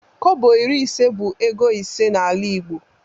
Kobo iri ise bụ ego ise n'ala igbo